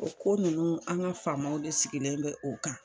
O ko nunnu an ŋa faamaw de sigilen bɛ o kan